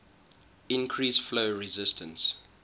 increase flow resistance